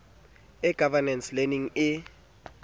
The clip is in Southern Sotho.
e governance e learning e